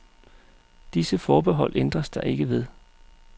Disse forbehold ændres der ikke ved.